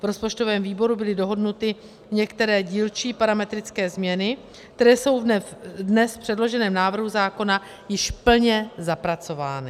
V rozpočtovém výboru byly dohodnuty některé dílčí parametrické změny, které jsou dnes v předloženém návrhu zákona již plně zapracovány.